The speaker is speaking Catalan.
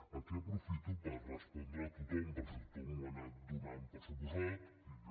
aquí aprofito per respondre a tothom perquè tothom ho ha anat donant per suposat i jo